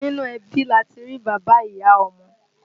Nínú ẹbí lati rí bàbá, ìyá, ọmọ